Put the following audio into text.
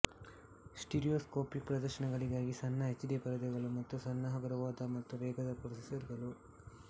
stereoscopic ಪ್ರದರ್ಶನಗಳಿಗಾಗಿ ಸಣ್ಣ HD ಪರದೆಗಳು ಮತ್ತು ಸಣ್ಣ ಹಗುರವಾದ ಮತ್ತು ವೇಗದ ಪ್ರೊಸೆಸರ್ಗಳು